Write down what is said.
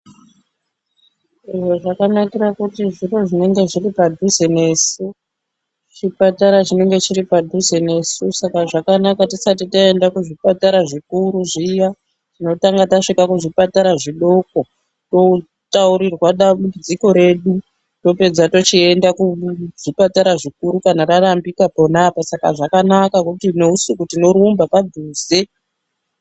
Eee zvakanakira kuti zviro zvinenge zviri padhuze nesu ,chipatara chinenge chiri padhuze nesu Saka zvakanaka tisati taenda kuzvipatara zvikuru zviya tinotanga tasvika kuzvipatara zvidoko totaurirwa dambudziko redu ropedza tichienda kuzvipatara zvikuru kana rarambika pona apapo ,Saka zvakanaka kuti neusiku tinorumba padhuze.